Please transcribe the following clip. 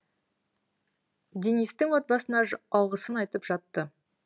денистің отбасына алғысын айтып жатты